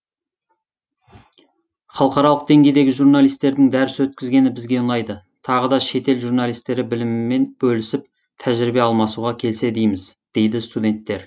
халықаралық деңгейдегі журналистердің дәріс өткізгені бізге ұнайды тағы да шет ел журналистері білімімен бөлісіп тәжірибе алмасуға келсе дейміз дейді студенттер